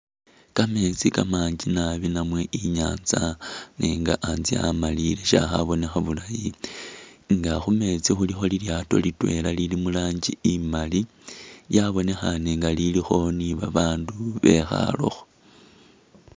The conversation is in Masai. Kameeti kamanji naabi namwe inyatsa nenga antse amaliye shakhabonekha bulaayi nga khumeetsi khulikho lilyaato litweela lili murangi a , lyabonekhaane nga lilikho ni babandu bekhaalekho .